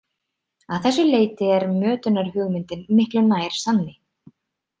Að þessu leyti er mötunarhugmyndin miklu nær sanni.